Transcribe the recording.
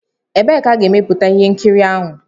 Ebee ka a ga-emeputa ihe nkiri ahụ?